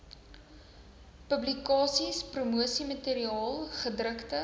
publikasies promosiemateriaal gedrukte